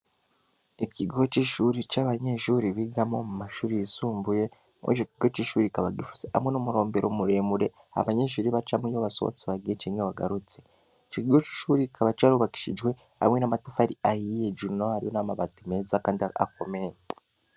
Ikigo c'ishuri c'abanyenshuri bigamo mu mashuri yisumbuye mwoico ikigo c'ishuri ikaba gifuse hamwe n'umurombero umuremure abanyenshuri bacamw ibo basobotsi bagiye cenke wagarutse ikigigo c'ishuri kikaba carubakishijwe hamwe n'amatafu ari ayiye hejuru n'amabati meza, kandi akomeye.